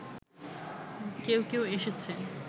কেউ কেউ এসেছে